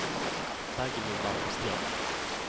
Dagny Malmström